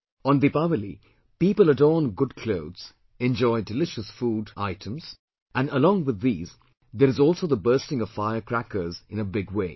On Deepawali people adorn good clothes, enjoy delicious food items and along with these there is also the bursting of firecrackers in a big way